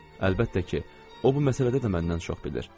Əlbəttə ki, o bu məsələdə də məndən çox bilir.